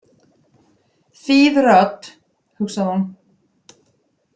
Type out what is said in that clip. Þýð rödd, hugsaði hún.